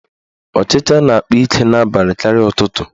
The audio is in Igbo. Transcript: Ọchicha na-akpa ike n'abalị karịa ụtụtụ.